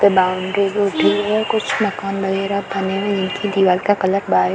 भी उठी हुई है कुछ मकान वगैरा बने हुई हैं निचे दीवाल का कलर वाइट --